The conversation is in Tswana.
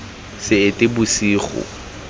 seetebosego